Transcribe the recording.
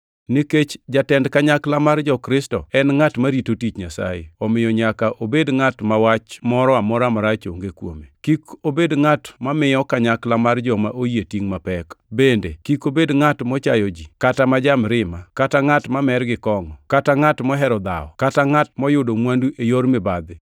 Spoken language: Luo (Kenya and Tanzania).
Nikech jatend kanyakla mar jo-Kristo en ngʼat marito tich Nyasaye, omiyo nyaka obed ngʼat ma wach moro amora marach onge kuome. Kik obed ngʼat mamiyo kanyakla mar joma oyie tingʼ mapek. Bende kik obed ngʼat mochayo ji kata ma ja-mirima, kata ngʼat mamer gi kongʼo, kata ngʼat mohero dhawo, kata ngʼat moyudo mwandu e yor mibadhi.